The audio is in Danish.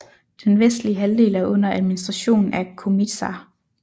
Den vestlige halvdel er under administration af Komiža